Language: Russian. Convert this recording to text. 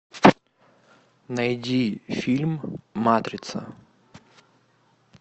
найди фильм матрица